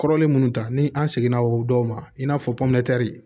Kɔrɔlen munnu ta ni an seginna o dɔw ma i n'a fɔ